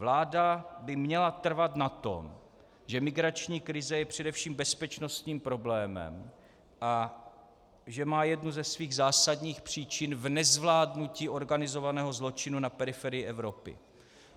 Vláda by měla trvat na tom, že migrační krize je především bezpečnostním problémem a že má jednu ze svých zásadních příčin v nezvládnutí organizovaného zločinu na periferii Evropy.